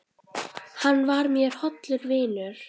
Hann var mér hollur vinur.